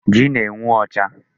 Ji na-enwu ọcha.